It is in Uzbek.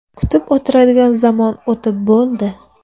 Kutib o‘tiradigan zamon o‘tib bo‘ldi.